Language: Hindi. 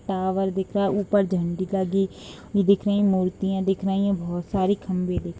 टावर दिख रहा है ऊपर झंडी लगी हुई दिख रही हैं मूर्तियाँ दिख रही हैं बहुत सारे खम्भे दिख --